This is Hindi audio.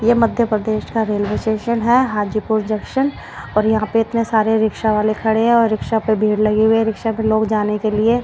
यह मध्य प्रदेश का रेलवे स्टेशन है हाजीपुर जंक्शन और यहां पे इतने सारे रिक्शा वाले खड़े हैं और रिक्शा पे भीड़ लगी हुई है रिक्शा पे लोग जाने के लिए--